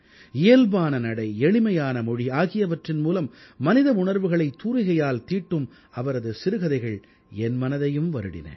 இயல்பான நடை எளிமையான மொழி ஆகியவற்றின் மூலம் மனித உணர்வுகளை தூரிகையால் தீட்டும் அவரது சிறுகதைகள் என் மனதையும் வருடின